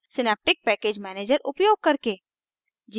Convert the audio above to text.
synaptic package manager उपयोग करके